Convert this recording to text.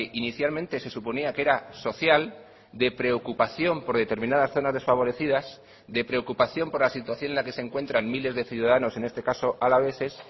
inicialmente se suponía que era social de preocupación por determinadas zonas desfavorecidas de preocupación por la situación en la que se encuentran miles de ciudadanos en este caso alaveses